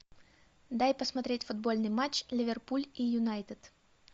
дай посмотреть футбольный матч ливерпуль и юнайтед